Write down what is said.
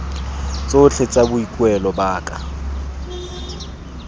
tsotlhe tsa boikuelo ba ka